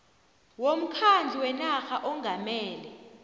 womkhandlu wenarha ongamele